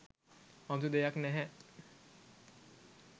අමුතු දෙයක් නෑහෑ.